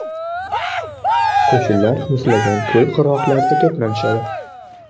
Qo‘shinlar muzlagan ko‘l qirg‘oqlarida to‘planishadi.